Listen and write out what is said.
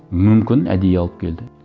мүмкін әдейі алып келді